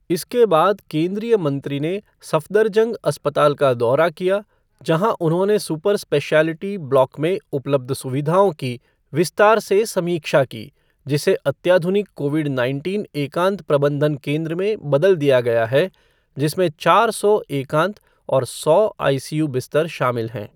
इसके बाद, केन्द्रीय मंत्री ने सफदरजंग अस्पताल का दौरा किया, जहां उन्होंने सुपर स्पेशिऐलेटी ब्लॉक में उपलब्ध सुविधाओं की विस्तार से समीक्षा की, जिसे अत्याधुनिक कोविड नाइनटीन एकांत प्रबंधन केन्द्र में बदल दिया गया है, जिसमें चार सौ एकांत और सौ आईसीयू बिस्तर शामिल हैं।